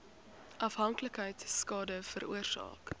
afhanklikheid skade veroorsaak